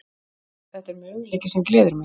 Þetta er möguleiki sem gleður mig.